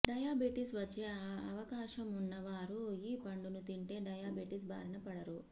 diabetes వచ్చే అవకాశమున్న వారు ఈ పండును తింటే డయాబెటిస్ బారిన పడరు